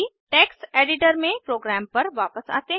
text editor में program पर वापस आते हैं